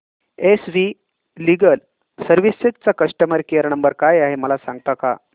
S V legal services चा customer care number काय आहे मला सांगता का